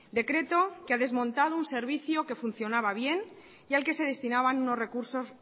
decreto que ha desmontado un servicio que funcionaba bien y al que se destinaban unos recursos